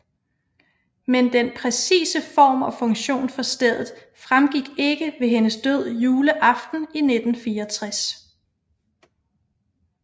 Men den præcise form og funktion for stedet fremgik ikke ved hendes død juleaften i 1964